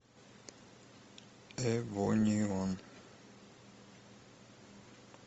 эвонеон